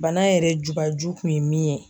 Bana yɛrɛ jubaju kun ye min ye.